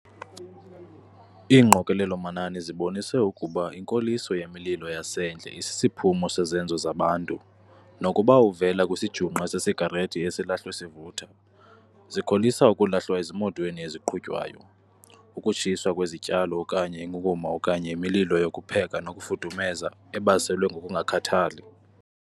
Iingqokelelo-manani zibonise ukuba inkoliso yemililo yasendle isisiphumo sezenzo zabantu, nokuba uvela kwisijungqe sesigarethi esilahlwe sivutha, zikholisa ukulahlwa ezimotweni eziqhutywayo, ukutshiswa kwezityalo okanye inkunkuma okanye imililo yokupheka nokufudumeza ebaselwe ngokungakhathali.